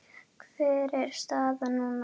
Hver er staðan núna?